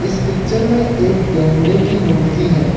इस पिक्चर में एक गैंडे की मूर्ति है।